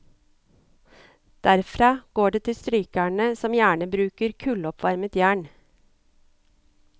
Derfra går det til strykerne, som gjerne bruker kulloppvarmet jern.